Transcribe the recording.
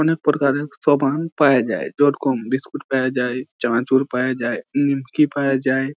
অনেক প্রকারের সমান পায়া যাই। বিস্কুট পায়া যাই চানাচুর পায়া যাই নিমকি পায়া যাই--